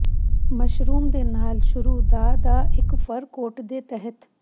mushroom ਦੇ ਨਾਲ ਸੂਰ ਦਾ ਦਾ ਇੱਕ ਫਰ ਕੋਟ ਦੇ ਤਹਿਤ